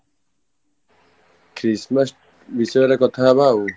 Christmas ବିଷୟରେ କଥା ହବା ଆଉ